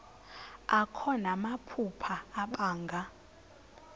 akho namaphupha abanga